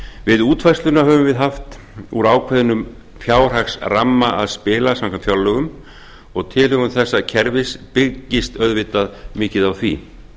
við útfærsluna höfum við haft úr ákveðnum fjárhagsramma að spila og tilhögun þessa kerfis byggist auðvitað mikið á því